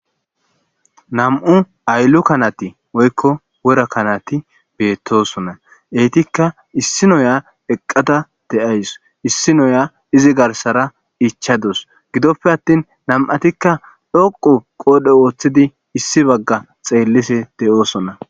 nam7u ayllu kanati oykko wora kanati beettosona eytikka issi noya eqqada de7ays issi noya izi garsara ichadus gidoppe attin nam7atikka dhoqu qoodhe wooththidi issi bagga xeellise de7oosona